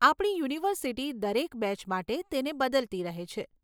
આપણી યુનિવર્સિટી દરેક બેચ માટે તેને બદલતી રહે છે.